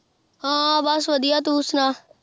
ਹਾਂ ਬੱਸ ਵਧੀਆ ਤੂੰ ਸੁਣਾ।